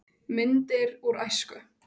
Myndir úr æsku.